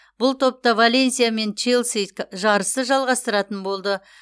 бұл топта валенсия мен челси жарысты жалғастыратын болды